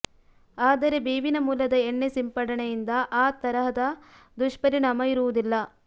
ಆದರೆ ಬೇವಿನ ಮೂಲದ ಎಣ್ಣೆ ಸಿಂಪಡಣೆಯಿಂದ ಆ ತರಹದ ದುಷ್ಪರಿಣಾಮ ಇರುವುದಿಲ್ಲ